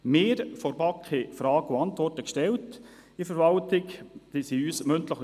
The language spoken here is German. Wir von der BaK haben der Verwaltung Fragen gestellt.